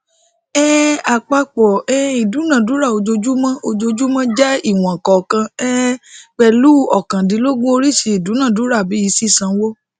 um àpapọ um ìdúnádúrà ojoojúmọ ojoojúmọ jẹ ìwọn kọọkan um pẹlú óókàndínlógún oríṣiríṣi ìdúnádúràbi ṣiṣànwo